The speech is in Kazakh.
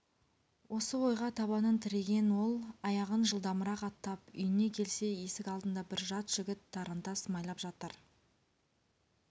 осы ойға табанын тіреген ол аяғын жылдамырақ аттап үйіне келсе есік алдында бір жат жігіт тарантас майлап жатыр